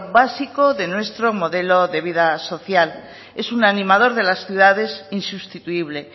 básico de nuestro modelo de vida social es un animador de las ciudades insustituible